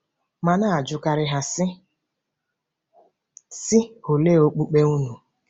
M na-ajụkarị ha, sị, sị, “Olee okpukpe unu ?”